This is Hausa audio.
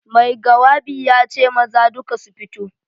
Mai gawabi ya ce maza duka su fito.